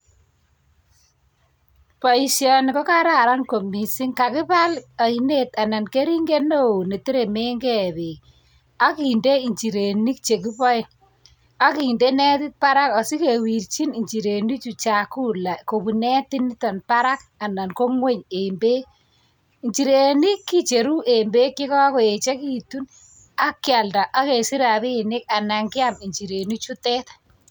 Boishoni ko kararan kot missing. kokibaal ainet, anan kering'et newoo neteremengee beek ak kinder injirenik chekiboe. Ak kindee netit baraaka asikewerchin injirenichutonchakula, kobuun netit barak. Anan ko ng'wony en beek. Injirenik kicheru che kakoyekitun ak kialdaa ak kesich rabinik anan kiam injirenichutet